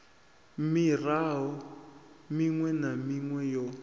miaro miṅwe na miṅwe yo